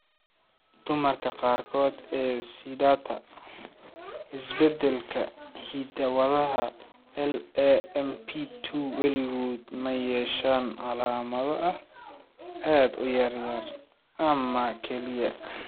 Dumarka qaarkood ee sidata isbeddelka hidda-wadaha LAMP2 weligood ma yeeshaan calaamado aad u yar ama kaliya.